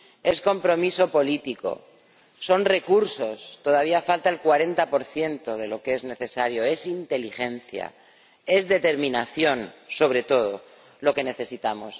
Es compromiso político, son recursos —todavía falta el 40 de lo que es necesario—, es inteligencia, es determinación sobre todo lo que necesitamos.